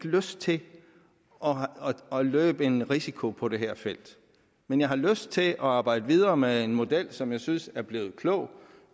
lyst til at løbe en risiko på det her felt men jeg har lyst til at arbejde videre med en model som jeg synes er blevet klog